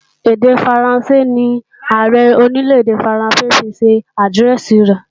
Èdè Faransé ní Ààrẹ Orílè-èdè Faransé ó fi ṣe àdírẹ́ẹ̀sì rẹ̀